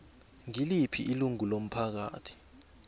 ngiliphi ilungu lomphakathi